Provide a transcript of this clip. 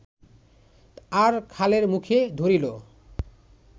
আর খালের মুখে ধরিল